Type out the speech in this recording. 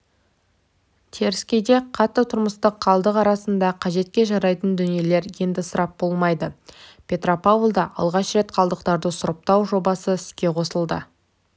теріскейде қатты тұрмыстық қалдық арасында қажетке жарайтын дүниелер енді ысырап болмайды петропавлда алғаш рет қалдықтарды сұрыптау жобасы іске қосылды